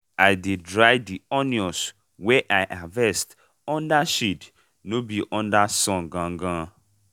i dey dry di onions wey i harvest under shade no be under sun gangan.